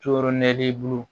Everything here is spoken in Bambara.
To yɔrɔ nɛ bolo